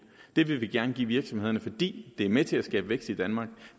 det vil vi gerne give virksomhederne for det er med til at skabe vækst i danmark